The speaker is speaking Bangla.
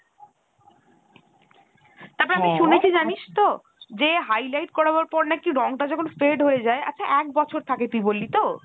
তা তো আমি শুনেছি জানিস তো যে highlight করানোর পর নাকি রং তা যখন fade হতে যায় আচ্ছা এক বছর থাকে তুই বললি তো ?